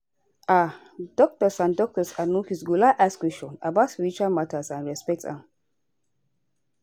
like no be all all sick person trust say na one way dem go well and e dey ok